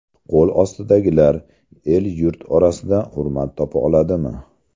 Qo‘l ostidagilar, el-yurt orasida hurmat topa oladimi?